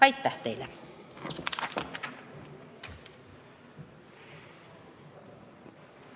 Aitäh teile!